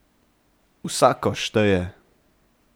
Vsako šteje!